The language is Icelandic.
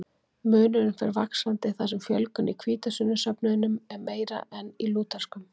Munurinn fer vaxandi þar sem fjölgun í hvítasunnusöfnuðum er meiri en í lúterskum.